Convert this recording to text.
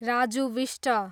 Raju Bista